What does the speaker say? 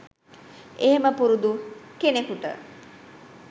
එහෙම පුරුදු කෙනෙකුට